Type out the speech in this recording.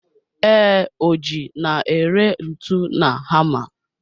Ee, Ọji n'ere ntu na hama.